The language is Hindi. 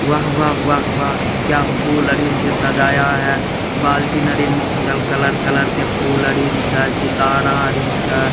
वाह वाह वाह क्या फुल लड़ी से सजाया है बाल्टी अरिन मुक्त कलर-कलर के फूल आरिन छै सितारा आरिन छै।